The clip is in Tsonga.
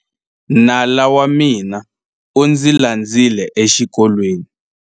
Nala wa mina u ndzi landzile exikolweni.